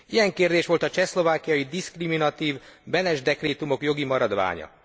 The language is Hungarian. Ilyen kérdés volt a csehszlovákiai diszkriminatív Benes dekrétumok jogi maradványa.